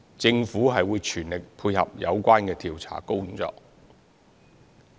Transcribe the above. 政府會全力配合有關的調查工作。